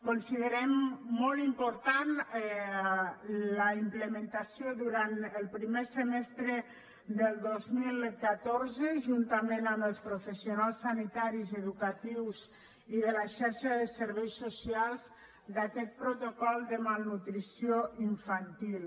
considerem molt important la implementació durant el primer semestre del dos mil catorze juntament amb els professionals sanitaris educatius i de la xarxa de serveis socials d’aquest protocol de malnutrició infantil